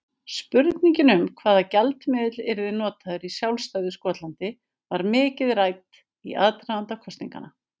Spurningin um hvaða gjaldmiðill yrði notaður í sjálfstæðu Skotlandi var mikið rædd í aðdraganda kosninganna.